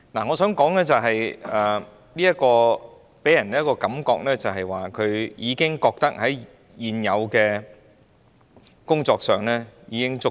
我想說，這段話予人的感覺是，政府認為推行現有的工作已經足夠。